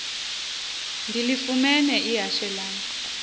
ndilifumene ihashe lam